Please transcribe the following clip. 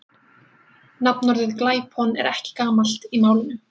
nafnorðið glæpon er ekki gamalt í málinu